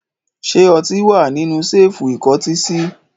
Ṣé ọtí wà nínú ṣẹ́ẹ́fù ìkọ́tí sí?